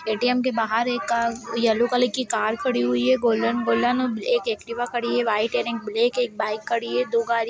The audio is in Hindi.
ए.टी.एम. के बाहर एक येलो कलर की कार खड़ी हुई है गोल्डन गोल्डन एक एक्टिवा खड़ी है व्हाइट एंड एक ब्लैक एक बाइक खड़ी हुई है दो गाड़ी --